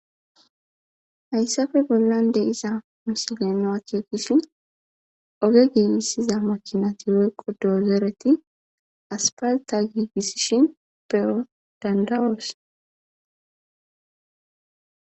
Hayssafe bollan de iza misileno akeekishin oge giibisiza makinati welqo doozeereti aspalta giigisishin pewo dandawoos.